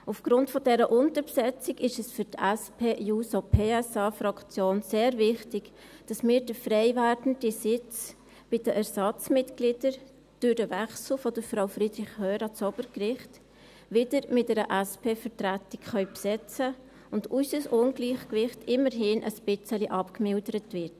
Aufgrund dieser Unterbesetzung ist es für die SP-JUSO-PSA-Fraktion sehr wichtig, dass wir den freiwerdenden Sitz bei den Ersatzmitgliedern durch den Wechsel von Frau Friederich Hörr ans Obergericht wieder mit einer SPVertretung besetzen können, sodass unser Ungleichgewicht immerhin etwas abgemildert wird.